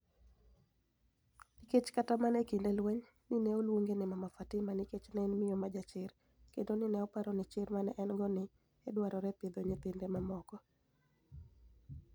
niikech kata mania e kinide lweniy, ni e oluonige nii Mama Fatima niikech ni e eni miyo ma jachir kenido ni e oparo nii chir ma ni e eni - go ni e dwarore e pidho niyithinide mamoko.